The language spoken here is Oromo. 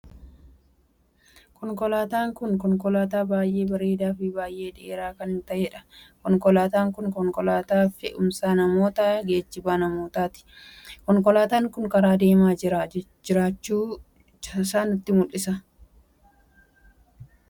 Konkolaataan kun konkolaataa baay'ee bareedaa f baay'ee dheeraa kan taheedha. konkolaataa kun konkolaataa fe'umsaa namootaa ykn geejjiba namootaati. konkolaataan kun karaa deemaa kan jiruudha. konkolaataan kun namoota hedduu al takkaatti fuudhee kan deemuudha. konkolaataan kun kan eenyuti? Eessa deemaa jira?